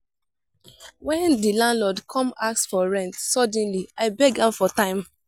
wen di landlord come ask for rent suddenly i beg am for time.